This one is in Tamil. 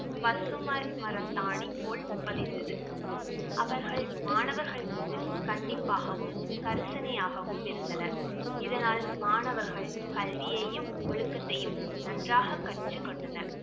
பசுமை மரத்தாணி போல் பதிந்தது அவர்கள் மாணவர்கள் மீது கண்டிப்பாகவும், கரிசனையாகவும் இருந்தனர் இதனால் மாணவர்கள் கல்வியையும், ஒழுக்கத்தையும் நன்றாக கற்றுக் கொண்டனர்